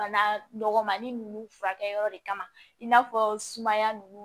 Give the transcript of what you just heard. Bana dɔgɔnin ninnu furakɛyɔrɔ de kama i n'a fɔ sumaya ninnu